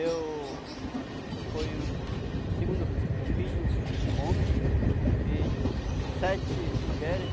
Eu fui o segundo filho homem e sete mulheres.